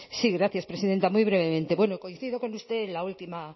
sí gracias presidenta muy brevemente bueno coincido con usted en la última